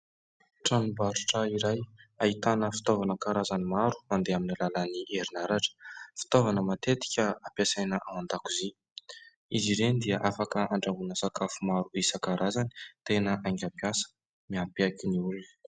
Tranombarotra iray ahitana fitaovana karazany maro mandeha amin'ny alalan'ny herinaratra. Fitaovana matetika ampiasaina ao an-dakozia. Izy ireny dia afaka andrahoina sakafo maro isan-karazany. Tena haingam-piasa, mampiaiky ny olona !